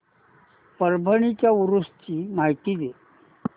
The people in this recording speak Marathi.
परभणी च्या उरूस ची माहिती दे